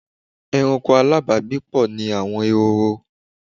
Ẹranko alábàágbépọ̀ ni àwọn ehoro.